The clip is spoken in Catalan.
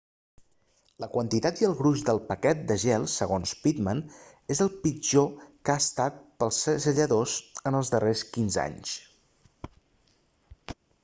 la quantitat i el gruix del paquet de gel segons pittman és el pitjor que ha estat per als segelladors en els darrers 15 anys